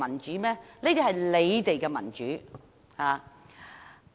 這些是你們的民主。